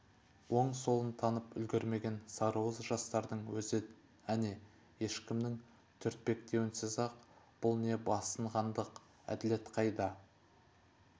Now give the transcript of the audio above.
оң-солын танып үлгрмеген сарыуыз жастардың өзі әне ешкімнің түртпектеуінсіз-ақ бұл не басынғандық әділет қайда